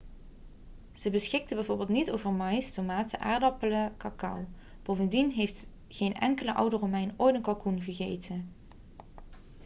ze beschikten bijvoorbeeld niet over maïs tomaten aardappelen cacao bovendien heeft geen enkele oude romein ooit een kalkoen gegeten